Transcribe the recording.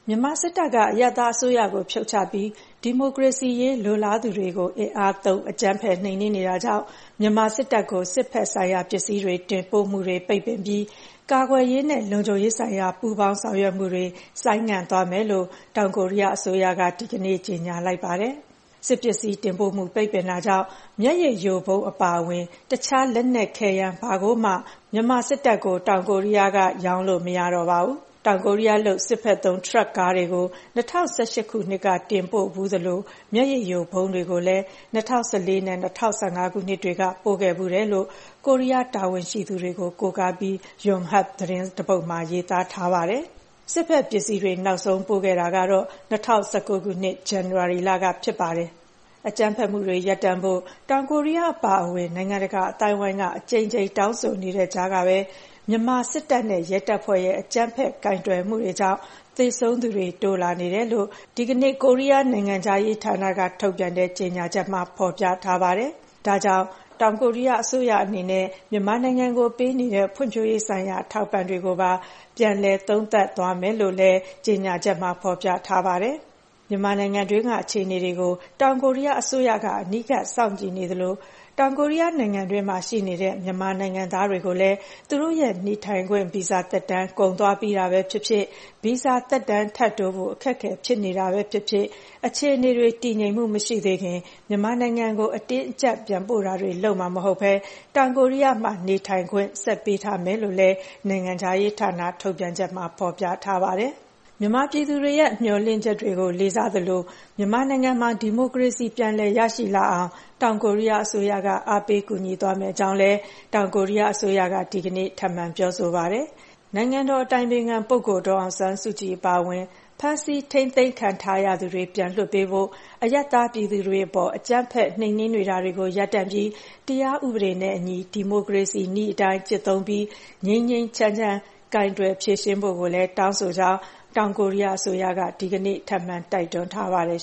မြန်မာစစ်တပ်က အရပ်သားအစိုးရကို ဖြုတ်ချပြီး ဒီမိုကရေစီရေး လိုလားသူတွေကို အင်အားသုံး အကြမ်းဖက် နှိမ်နင်းနေတာကြောင့် မြန်မာစစ်တပ်ကို စစ်ဘက်ဆိုင်ရာပစ္စည်း တင်ပို့မှုတွေ ပိတ်ပင်ပြီး ကာကွယ်ရေးနဲ့ လုံခြုံရေးဆိုင်ရာ ပူးပေါင်းဆောင်ရွက်မှုတွေ ဆိုင်းငံ့သွားမယ်လို့ တောင်ကိုရီးယားအစိုးရက ဒီကနေ့ ကြေညာလိုက်ပါတယ်။ စစ်ပစ္စည်းတင်ပို့မှု ပိတ်ပင်တာကြောင့် မျက်ရည်ယိုဗုံးအပါအဝင် တခြားလက်နက်ခဲယမ်း ဘာကိုမှ မြန်မာစစ်တပ်ကို တောင်ကိုရီးယားအနေနဲ့ ရောင်းလို့မရတော့ပါဘူး။ တောင်ကိုရီးယားလုပ် စစ်ဘက်သုံးထရပ်ကားတွေကို ၂၀၁၈ ခုနှစ်က တင်ပို့ခဲ့ဖူးသလို မျက်ရည်ယိုဗုံးတွေကိုလည်း ၂၀၁၄ နဲ့ ၂၀၁၅ ခုနှစ်တွေက ပို့ခဲ့ဖူးတယ်လို့ ကိုရီးယားတာဝန်ရှိသူတွေကို ကိုးကားပြီး ယွန်ဟပ်သတင်းတစ်ပုဒ်မှာ ရေးထားပါတယ်။ စစ်ဘက်ပစ္စည်းတွေ နောက်ဆုံးပို့ခဲ့တာကတော့ ၂၀၁၉ ခုနှစ်၊ ဇန်နဝါရီလကဖြစ်ပါတယ်။ အကြမ်းဖက်မှုတွေရပ်တန့်ဖို့ တောင်ကိုရီးယားအပါအဝင် နိုင်ငံတကာအသိုင်းအဝိုင်းက အကြိမ်ကြိမ် တောင်းဆိုနေတဲ့ကြားကပဲ မြန်မာစစ်တပ်နဲ့ ရဲတပ်ဖွဲ့ရဲ့ အကြမ်းဖက်ကိုင်တွယ်မှုတွေကြောင့် သေဆုံးသူတွေ တိုးလာနေတယ်လို့ ဒီကနေ့ နိုင်ငံခြားရေးဌာနက ထုတ်ပြန်တဲ့ကြေညာချက်မှာ ဖော်ပြထားပါတယ်။ ဒါကြောင့် တောင်ကိုရီးယားအစိုးရအနေနဲ့ မြန်မာနိုင်ငံကိုပေးနေတဲ့ ဖွံ့ဖြိုးရေးဆိုင်ရာ အထောက်အပံ့တွေကိုပါ ပြန်လည် သုံးသပ်တာတွေ လုပ်သွားမယ်လို့လည်း ကြေညာချက်မှာ ဖော်ပြထားပါတယ်။ မြန်မာနိုင်ငံတွင်းက အခြေအနေတွေကို တောင်ကိုရီးယားအစိုးရက အနီးကပ်စောင့်ကြည့်နေသလို တောင်ကိုရီးယားနိုင်ငံတွင်းမှာ ရှိနေကြတဲ့ မြန်မာနိုင်ငံသားတွေကိုလည်း သူတို့ရဲ့ နေထိုင်ခွင့် ဗီဇာသက်တမ်း ကုန်သွားပြီးတာပဲဖြစ်ဖြစ်၊ ဗီဇာသက်တမ်း ထပ်တိုးဖို့ အခက်အခဲ ဖြစ်နေတာပဲဖြစ်ဖြစ် အခြေအနေတွေ တည်ငြိမ်မှုမရှိသေးခင် မြန်မာနိုင်ငံကို အတင်းအကျပ် ပြန်ပို့တာတွေ လုပ်မှာမဟုတ်ဘဲ တောင်ကိုရီးယားမှာ နေထိုင်ခွင့် ဆက် ပေးထားမယ်လို့လည်း နိုင်ငံခြားရေးဌာန ထုတ်ပြန်ချက်မှာ ဖော်ပြထားပါတယ်။ မြန်မာပြည်သူတွေရဲ့ မျှော်လင့်ချက်တွေကို လေးစားသလို မြန်မာနိုင်ငံမှာ ဒီမိုကရေစီ ပြန်လည်ရရှိလာအောင် တောင်ကိုရီးယားအစိုးရက အားပေးကူညီသွားမယ့်အကြောင်းလည်း တောင်ကိုရီးယားအစိုးရက ဒီကနေ့ ထပ်မံ ပြောဆိုပါတယ်။ နိုင်ငံတော် အတိုင်ပင်ခံပုဂ္ဂိုလ် ဒေါ်အောင်ဆန်းစုကြည် အပါအဝင် ဖမ်းဆီးထိန်းသိမ်းထားသူတွေကို ပြန်လွှတ်ပေးဖို့၊ အရပ်သားပြည်သူတွေအပေါ် အကြမ်းဖက် နှိမ်နင်းနေတာတွေကို ရပ်တန့်ပြီး တရားဥပဒေနဲ့အညီ ဒီမိုကရေစီနည်းအတိုင်း ကျင့်သုံးပြီး ငြိမ်းငြိမ်းချမ်းချမ်း ဖြေရှင်းကိုင်တွယ်ဖို့လည်း တောင်းဆိုပါတယ်လို့ တောင်ကိုရီးယားအစိုးရက ဒီကနေ့ ထပ်မံ တိုက်တွန်းထားပါတယ်